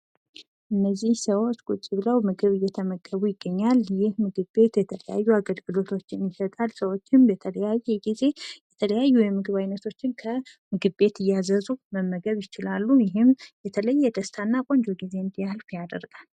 እነዚህ ሰዎች ቁጭ ብለው ምግብ እየተመገቡ ያሳያል። ይህ ምግብ ቤት የተለያዩ አገልግሎቶችን ይሰጣል። ሰዎችም በተለያየ ጊዜ ምግቦችን እያዘዙ መመገብ የሚችሉ ሲሆን ይሄም የተለየና ቆንጆ ጊዜ እንዲያልፍ ያደርጋል።